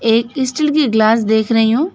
एक स्टील की ग्लास देख रही हूं।